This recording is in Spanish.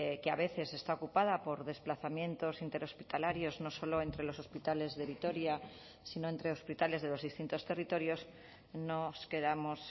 que a veces está ocupada por desplazamientos interhospitalarios no solo entre los hospitales de vitoria sino entre hospitales de los distintos territorios nos quedamos